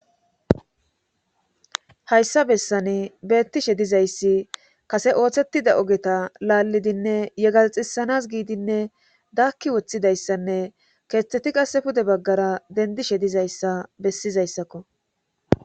hayssa bessani beettishe dizayssi kase ooththettida ogeta laallidinne yegaxisanas giidinne daakki woththidayssanne keeththeti qase pude baggara dendishe dizayssa bessizayssakko